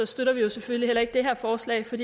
støtter vi selvfølgelig heller ikke det her forslag for